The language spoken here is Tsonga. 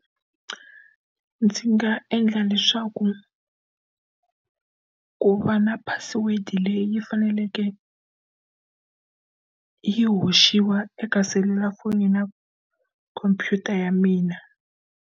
Ndzi nga endla leswaku ku va na password leyi faneleke yi hoxiwa eka selulafoni na khompyuta ya mina.